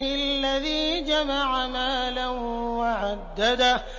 الَّذِي جَمَعَ مَالًا وَعَدَّدَهُ